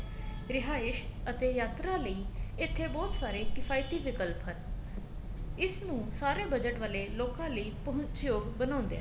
ਰਿਹਾਇਸ਼ ਅਤੇ ਯਾਤਰਾ ਲਈ ਇੱਥੇ ਬਹੁਤ ਸਾਰੇ ਕਿਫਾਇਤੀ ਵਿਲਕਪ ਹਨ ਇਸ ਨੂੰ ਸਾਰੇ budget ਵਾਲੇ ਲੋਕਾ ਲਈ ਪਹੁੰਚ ਯੋਗ ਬਣਾਉਂਦੇ ਹਨ